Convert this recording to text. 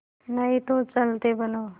नहीं तो चलते बनो